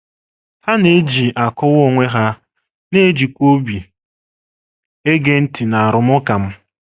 Ha na - eji akọwa onwe ha, na - ejikwa obi ege ntị n’arụmụka m. ”